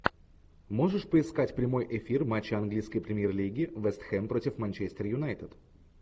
можешь поискать прямой эфир матча английской премьер лиги вест хэм против манчестер юнайтед